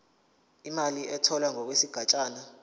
imali etholwe ngokwesigatshana